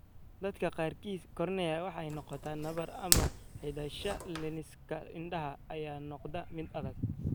Dadka qaarkii kornea waxay noqotaa nabar ama xidhashada lensiska indhaha ayaa noqda mid adag.